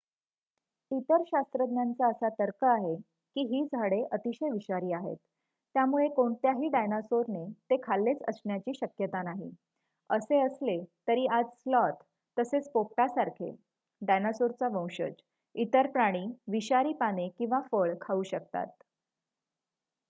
इतर शास्त्रज्ञांचा असा तर्क आहे की ही झाडे अतिशय विषारी आहेत त्यामुळे कोणत्याही डायनासोरने ते खाल्लेच असण्याची शक्यता नाही असे असले तरी आज स्लॉथ तसेच पोपटासारखे डायनासोरचा वंशज इतर प्राणी विषारी पाने किंवा फळ खाऊ शकतात